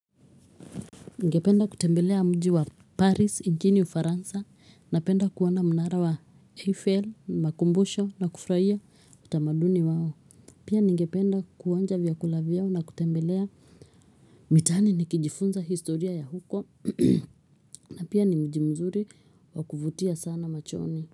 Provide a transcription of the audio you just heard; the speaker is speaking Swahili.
Ningependa kutembelea mji wa Paris, nchini Ufaransa, napenda kuona mnara wa Eiffel, makumbusho na kufrahia utamaduni wao. Pia ningependa kuonja vyakula vyao na kutembelea mitaani nikijifunza historia ya huko, na pia ni mji mzuri wa kuvutia sana machoni.